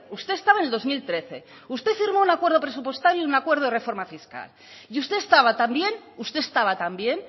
usted estaba en el dos mil trece usted firmó un acuerdo presupuestario y un acuerdo de reforma fiscal y usted estaba también usted estaba también